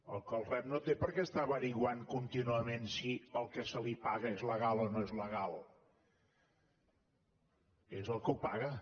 el que el rep no té per què està esbrinant contínuament si el que se li paga és legal o no és legal és el que ho paga